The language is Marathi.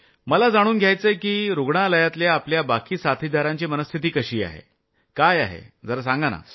मला जाणून घ्यायचंय की रूग्णालयातल्या आपल्या बाकी साथीदारांची मनःस्थिती कशी आहे काय आहे जरा सांगा तर